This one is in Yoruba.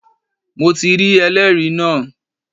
Mo rí ẹlẹ́rìí náà